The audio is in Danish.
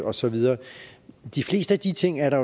og så videre de fleste af de ting er der